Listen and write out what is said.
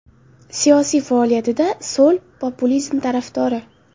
Siyosiy faoliyatida so‘l populizm tarafdori.